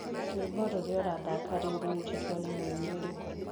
rwĩmbo rũrĩa urathaka riu rurutitwo ni muini ũrĩkũ